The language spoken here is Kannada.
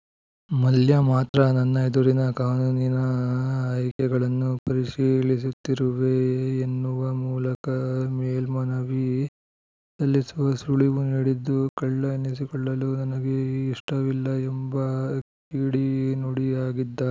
ಮಲ್ಯ ಮಾತ್ರ ನನ್ನ ಎದುರಿನ ಕಾನೂನಿನ ಆಯ್ಕೆಗಳನ್ನು ಪರಿಶೀಲಿಸುತ್ತಿರುವೆ ಎನ್ನುವ ಮೂಲಕ ಮೇಲ್ಮನವಿ ಸಲ್ಲಿಸುವ ಸುಳಿವು ನೀಡಿದ್ದು ಕಳ್ಳ ಎನ್ನಿಸಿಕೊಳ್ಳಲು ನನಗೆ ಇಷ್ಟವಿಲ್ಲ ಎಂಬ ಕಿಡಿನುಡಿಯಾಗಿದ್ದಾರೆ